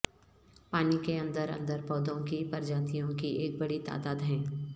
پانی کے اندر اندر پودوں کی پرجاتیوں کی ایک بڑی تعداد ہیں